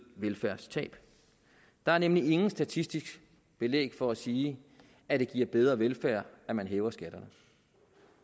velfærdstab der er nemlig intet statistisk belæg for at sige at det giver bedre velfærd at man hæver skatterne